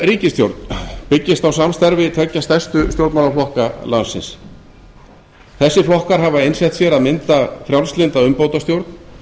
ríkisstjórn byggist á samstarfi tveggja stærstu stjórnmálaflokka landsins þessir flokkar hafa einsett sér að mynda frjálslynda umbótastjórn